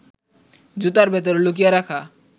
জুতার ভেতরে লুকিয়ে রাখা